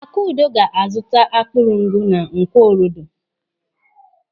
Akudo ga-azuta akpụrụngụ na Nkwọ Orodo.